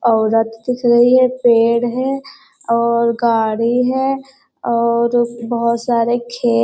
औरत के पेड़ है और गाड़ी है और बहुत सारे खेत --